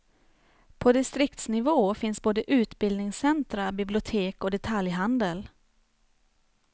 På distriktsnivå finns både utbildningscentra, bibliotek och detaljhandel.